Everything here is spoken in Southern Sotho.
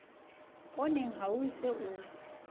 pooneng ha o se o